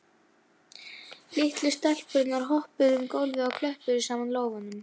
Litlu stelpurnar hoppuðu um gólfið og klöppuðu saman lófunum.